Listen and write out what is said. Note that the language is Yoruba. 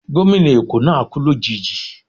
Gómìnà Eko náà kú lòjijì